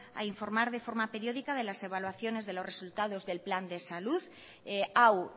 a informar de forma periódica de las evaluaciones de los resultados del plan de salud hau